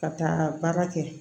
Ka taa baara kɛ